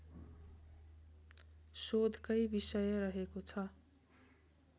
शोधकै विषय रहेको छ